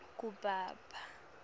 kubaba